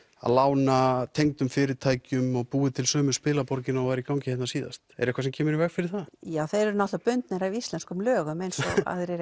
lána tengdum fyrirtækjum og búið til sömu spilaborgina og var í gangi hérna síðast er eitthvað sem kemur í veg fyrir það já þeir eru bundnir af íslenskum lögum eins og aðrir